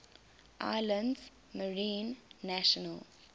islands marine national